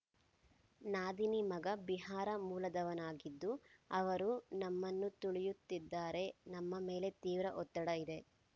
ನಾದಿನಿ ಮಗ ಬಿಹಾರ ಮೂಲದವನಾಗಿದ್ದು ಅವರು ನಮ್ಮನ್ನು ತುಳಿಯುತ್ತಿದ್ದಾರೆ ನಮ್ಮ ಮೇಲೆ ತೀವ್ರ ಒತ್ತಡ ಇದೆ